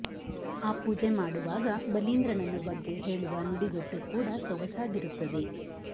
ಆ ಪೂಜೆ ಮಾಡುವಾಗ ಬಲೀಂದ್ರನನ್ನು ಬಗ್ಗೆ ಹೇಳುವ ನುಡಿಗಟ್ಟು ಕೂಡ ಸೊಗಸಾಗಿರುತ್ತದೆ